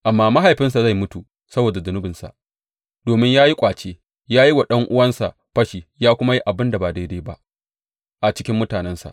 Amma mahaifinsa zai mutu saboda zunubinsa, domin ya yi ƙwace, ya yi wa ɗan’uwansa fashi ya kuma yi abin da ba daidai ba a cikin mutanensa.